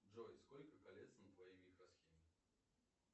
джой сколько колец на твоей микросхеме